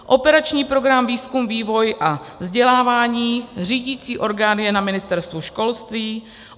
Operační program Výzkum, vývoj a vzdělávání, řídicí orgán je na Ministerstvu školství;